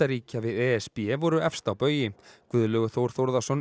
ríkja við e s b voru efst á baugi Guðlaugur Þór Þór